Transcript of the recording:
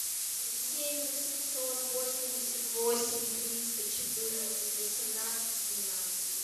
семь восемьсот восемьдесят восемь триста четырнадцать восемнадцать семнадцать